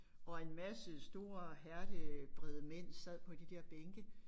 Og en masse store hærdebrede mænd sad på de der bænke